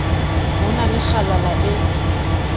ho na le kgalala e